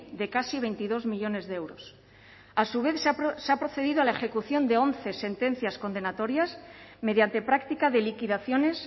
de casi veintidós millónes de euros a su vez se ha procedido a la ejecución de once sentencias condenatorias mediante práctica de liquidaciones